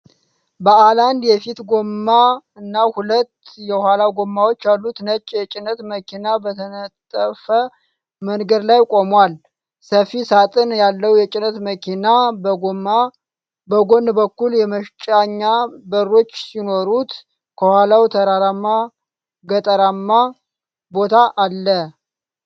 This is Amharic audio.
ባለአንድ የፊት ጎማ እና ሁለት የኋላ ጎማዎች ያሉት ነጭ የጭነት መኪና በተነጠፈ መንገድ ላይ ቆሟል። ሰፊ ሳጥን ያለው የጭነት መኪና በጎን በኩል የመጫኛ በሮች ሲኖሩት፣ ከኋላው ተራራማ ገጠራማ ቦታ አለ።